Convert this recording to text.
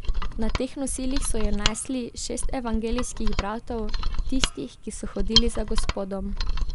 Na teh nosilih so jo nesli, šest evangelijskih bratov, tistih, ki so hodili za Gospodom.